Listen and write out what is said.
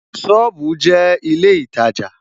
Sọ́ọ̀bù jẹ́ ilé ìtajà